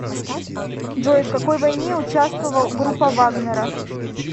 джой в какой войне участвовал группа вагнера